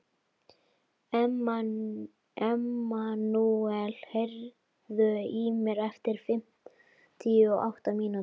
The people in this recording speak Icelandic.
Emmanúel, heyrðu í mér eftir fimmtíu og átta mínútur.